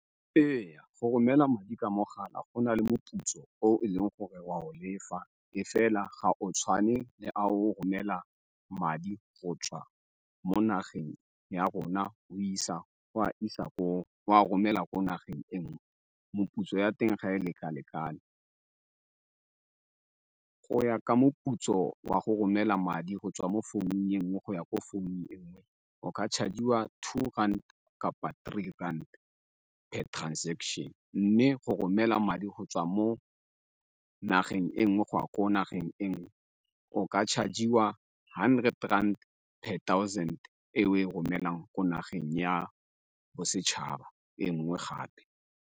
Ee, go romela madi ka mogala go na le moputso o e leng gore wa o lefa e fela ga o tshwane le a o romela madi go tswa mo nageng ya rona o isa go a isa ko, o a romela ko nageng e nngwe, meputso ya teng ga e leka-lekane. Go ya ka moputso wa go romela madi go tswa mo founung e nngwe go ya ko phone e nngwe o ka charge-iwa two rand kapa three rand per transaction mme go romela madi go tswa mo nageng e nngwe go ya ko nageng e nngwe o ka charge-iwa hundred per thousand e o e romelang ko nageng ya bosetšhaba e nngwe gape.